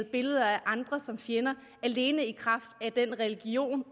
billeder af andre som fjender alene i kraft af den religion